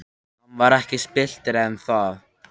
Hann var ekki spilltari en það.